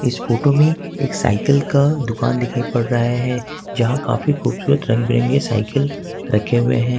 इस फोटो में एक सायकल का दुकान दिखाई पड़ रहा है जहां काफी खूबसूरत रंगबिरंगे सायकल रखे हुए हैं।